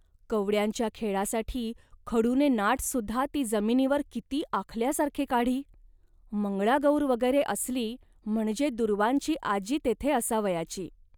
कवड्यांच्या खेळासाठी खडूने नाटसुद्धा ती जमिनीवर किती आखल्यासारखे काढी. मंगळागौर वगैरे असली, म्हणजे दूर्वांची आजी तेथे असावयाची